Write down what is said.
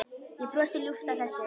Ég brosi ljúft að þessu.